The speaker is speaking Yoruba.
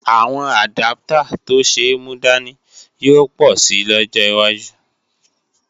Àwọn àdáptà tó ṣe é múdání yóò pọ̀ si lọ́jọ́ wájú